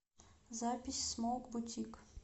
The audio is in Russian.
запись смоук бутик